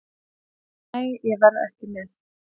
Nei, ég verð ekki með.